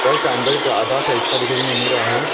घर का अंदर का आधा सा हिस्सा दिखाए देने मिल रहा है।